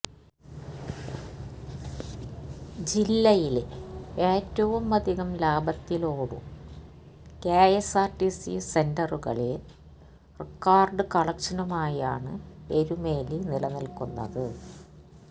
ജില്ലയില് ഏറ്റവുമധികം ലാഭത്തിലോടു കെഎസ്ആര്ടിസി സെന്ററുകളില് റിക്കാര്ഡ് കളക്ഷനുമായാണ് എരുമേലി നിലനില്ക്കുന്നത്